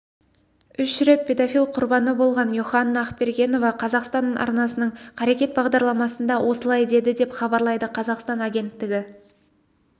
үш рет педофил құрбаны болған йоханна ақбергеновақазақстанарнасының қарекет бағдарламасында осылай деді деп хабарлайды қазақстан агенттігі